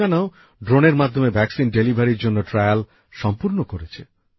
তেলেঙ্গানাও ড্রোনের মাধ্যমে টিকা পৌঁছে দেবার জন্য ট্রায়াল সম্পূর্ণ করেছে